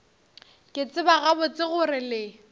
ke tseba gabotse gore le